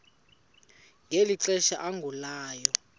ngeli xesha agulayo